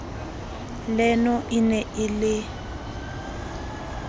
leno e ne e le